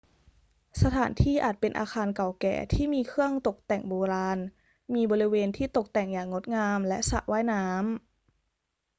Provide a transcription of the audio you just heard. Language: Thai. สถานที่อาจเป็นอาคารเก่าแก่ที่มีเครื่องตกแต่งโบราณ มีบริเวณที่ตกแต่งอย่างงดงาม และสระว่ายน้ำ